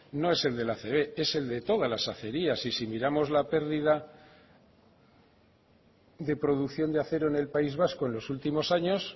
no es el de la acb es el de todas las acerías y si miramos la pérdida de producción de acero en el país vasco en los últimos años